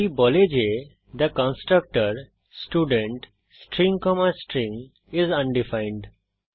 এটি বলে যে the constructor student string comma string is undefined